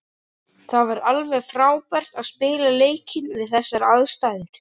Það var alveg frábært að spila leikinn við þessar aðstæður.